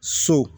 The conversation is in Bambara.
So